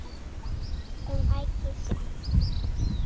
Um Ægisif